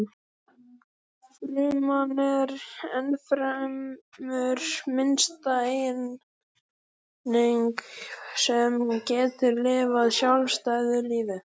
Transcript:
Fruman er ennfremur minnsta eining sem getur lifað sjálfstæðu lífi.